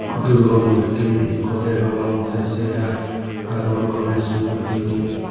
durgo murthi ekko degong te se hai agon gonesh murti.